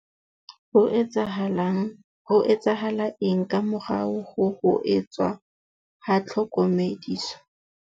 Ho etsahala eng ka morao ho ho etswa ha tlhokomediso?